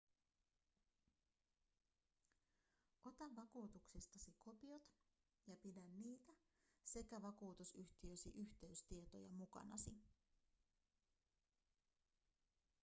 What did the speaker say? ota vakuutuksistasi kopiot ja pidä niitä sekä vakuutusyhtiösi yhteystietoja mukanasi